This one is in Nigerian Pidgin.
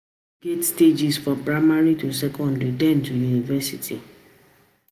School get stages, from primary to secondary then to university